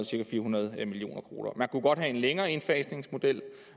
cirka fire hundrede million kroner der kunne godt være en længere indfasningsmodel